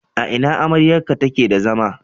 A ina amryarka take da zama?